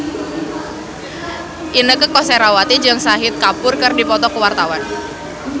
Inneke Koesherawati jeung Shahid Kapoor keur dipoto ku wartawan